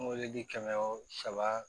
Moridi kɛmɛ wo saba